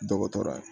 Dɔgɔtɔrɔya ye